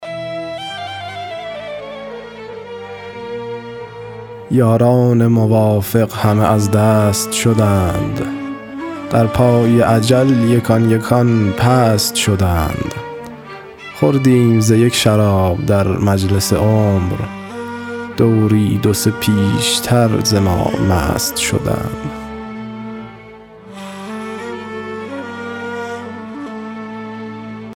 یاران موافق همه از دست شدند در پای اجل یکان یکان پست شدند خوردیم ز یک شراب در مجلس عمر دوری دو سه پیشتر ز ما مست شدند